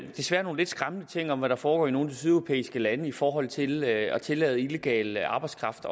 jo desværre nogle lidt skræmmende ting om hvad der foregår i nogle af de sydeuropæiske lande i forhold til at tillade illegal arbejdskraft